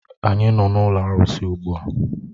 Anyị nọ n'ụlọ arụsị ugbu a